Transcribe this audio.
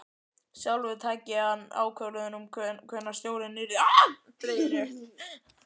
Sjálfur tæki hann ákvörðun um hvenær stjórinn yrði dreginn upp.